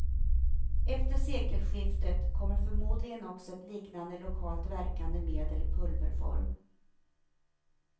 Efter sekelskiftet kommer förmodligen också ett liknande lokalt verkande medel i pulverform.